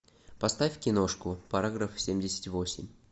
поставь киношку параграф семьдесят восемь